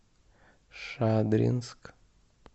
шадринск